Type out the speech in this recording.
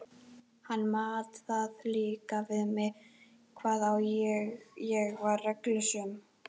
Hann mat það líka við mig hvað ég var reglusöm.